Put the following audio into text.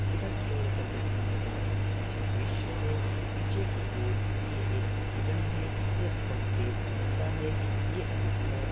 उनधार की देखा जाइए तो बोहोत अच्छा ड्रिसया है पीछे की और ये एक हेरण है ये बोहोत तेज दोदता है ये अधिकतर--